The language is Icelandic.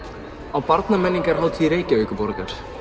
á Reykjavíkurborgar